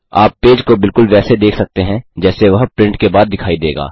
आप पेज को बिल्कुल वैसे देख सकते हैं जैसे वह प्रिंट के बाद दिखाई देगा